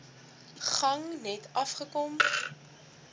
gang net afgekom